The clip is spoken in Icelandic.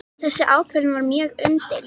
Þessi ákvörðun var mjög umdeild